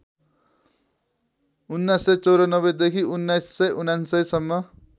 १९९४ देखि १९९९ सम्म